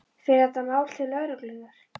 Fer þetta mál til lögreglunnar?